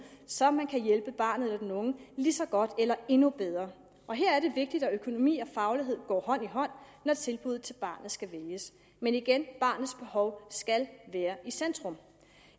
så man kan hjælpe barnet eller den unge lige så godt eller endnu bedre og her er det vigtigt at økonomi og faglighed går hånd i hånd når tilbuddet til barnet skal vælges men igen barnets behov skal være i centrum